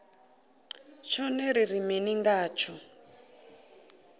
tshone ri ri mini ngatsho